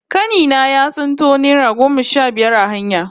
Kani na ya tsinto naira goma sha biyar a hanya